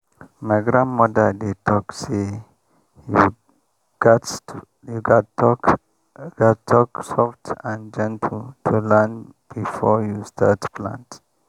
my grandmother dey talk say you gats talk gats talk soft and gentle to land before you start plant.